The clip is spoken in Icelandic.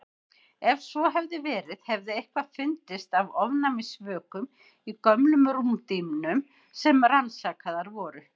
Ef svo hefði verið hefði eitthvað fundist af ofnæmisvökum í gömlum rúmdýnum sem rannsakaðar voru.